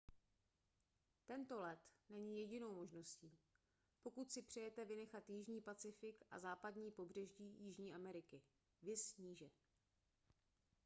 tento let není jedinou možností pokud si přejete vynechat jižní pacifik a západní pobřeží jižní ameriky. viz níže